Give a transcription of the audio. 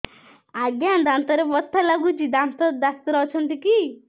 ଆଜ୍ଞା ଦାନ୍ତରେ ବଥା ଲାଗୁଚି ଦାନ୍ତ ଡାକ୍ତର ଅଛି କି